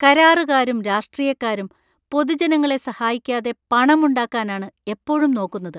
കരാറുകാരും രാഷ്ട്രീയക്കാരും പൊതുജനങ്ങളെ സഹായിക്കാതെ പണമുണ്ടാക്കാനാണ് എപ്പഴും നോക്കുന്നത്.